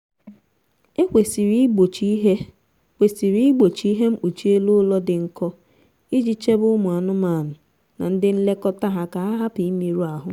e kwesịrị igbochi ihe kwesịrị igbochi ihe mkpuchi elu ụlọ dị nkọ iji chebe ụmụ anụmanụ na ndi nlekọta ha ka ha hupu imerụ ahụ